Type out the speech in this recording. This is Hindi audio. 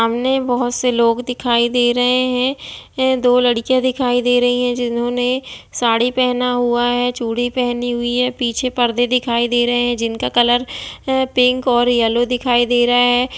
सामने बहुत से लोग दिखायी दे रहे हैं दो लड़कियाँ दिखायी दे रही हैं जिन्होंने साड़ी पहना हुआ है चूड़ी पहनी है पीछे पर्दे दिखायी दे रहा है जिनका कलर पिंक और येलो दिखायी दे रहा है।